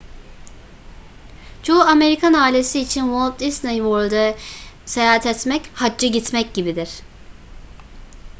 çoğu amerikan ailesi için walt disney world'e seyahat etmek hacca gitmek gibidir